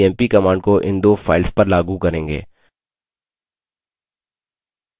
अब हम cmp command को इन दो files पर लागू करेंगे